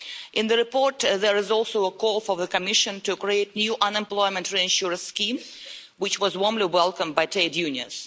In the report there is also a call for the Commission to create a new unemployment insurance scheme, which was warmly welcomed by trade unions.